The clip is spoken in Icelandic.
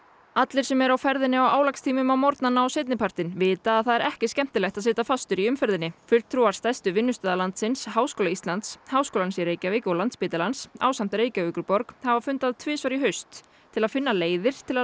allir sem eru á ferðinni á álagstímum á morgnana og seinni partinn vita að það er ekki skemmtilegt að sitja fastur í umferðinni fulltrúar stærstu vinnustaða landsins Háskóla Íslands Háskólans í Reykjavík og Landspítalans ásamt Reykjavíkurborg hafa fundað tvisvar í haust til að finna leiðir til að